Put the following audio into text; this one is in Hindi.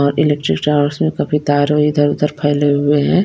और इलेक्ट्रिक चार्ज मैं सभी तार इधर उधर फैले हुए हैं।